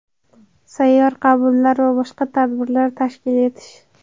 Sayyor qabullar va boshqa tadbirlar tashkil etish.